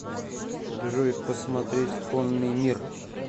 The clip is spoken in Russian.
джой посмотреть конный мир